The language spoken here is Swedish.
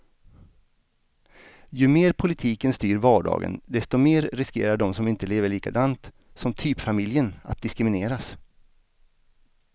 Ju mer politiken styr vardagen, desto mer riskerar de som inte lever likadant som typfamiljen att diskrimineras.